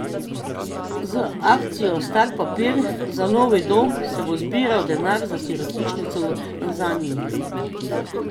Z akcijo Star papir za novi dom se bo zbiral denar za sirotišnico v Tanzaniji.